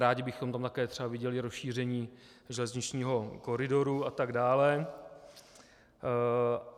Rádi bychom tam také třeba viděli rozšíření železničního koridoru atd.